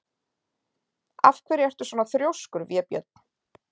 Af hverju ertu svona þrjóskur, Vébjörn?